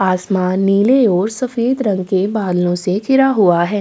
आसमान नीले और सफ़ेद रंग के बादलों से घिरा हुआ है।